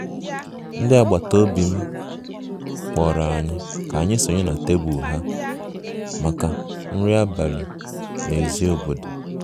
ndị agbata obi m kpọrọ anyị ka anyị sonye na tebụl ha maka nri abalị n'èzí obodo